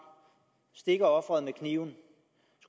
stikker offeret med kniven